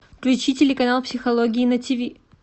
включи телеканал психология на тиви